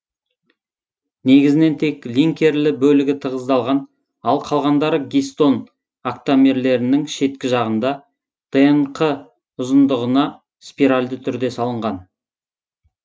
негізінен тек линкерлі бөлігі тығыздалған ал калғандары гистон октамерлерінің шеткі жағында днқ ұзындығына спиральді түрде салынған